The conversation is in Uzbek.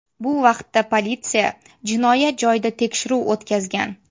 Bu vaqtda politsiya jinoyat joyida tekshiruv o‘tkazgan.